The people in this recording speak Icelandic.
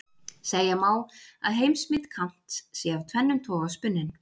segja má að heimsmynd kants sé af tvennum toga spunnin